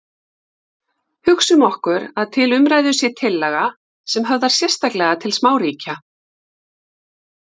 Hugsum okkur að til umræðu sé tillaga sem höfðar sérstaklega til smáríkja.